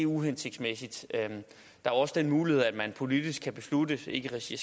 uhensigtsmæssigt der er også den mulighed at man politisk kan beslutte ikke i regi